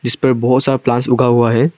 इस पे बहुत सारा प्लांट्स उगा हुआ है।